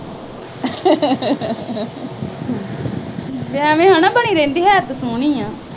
ਐਵੇਂ ਹਨਾ ਬਣੀ ਰਹਿੰਦੀ, ਹੈ ਤਾਂ ਸੋਹਣੀ ਆ।